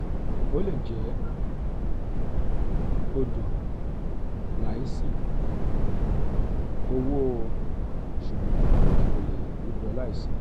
o le je odo laisi owo sugbon e ko le rubo laisi re”.